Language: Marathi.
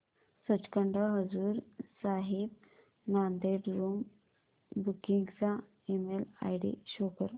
सचखंड हजूर साहिब नांदेड़ रूम बुकिंग चा ईमेल आयडी शो कर